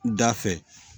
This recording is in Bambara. Da fɛ